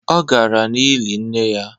Ọ gara n’ili nne ya